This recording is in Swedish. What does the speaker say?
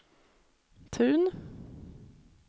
Tun